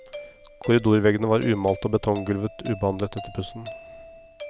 Korridorveggene var umalte og betonggulvet ubehandlet etter pussen.